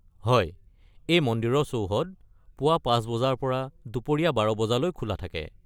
হয়। এই মন্দিৰৰ চৌহদ পুৱা ৫ বজাৰ পৰা দুপৰীয়া ১২ বজালৈ খোলা থাকে।